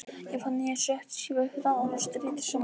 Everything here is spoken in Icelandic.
Ég fann að ég sökk sífellt hraðar og streittist á móti.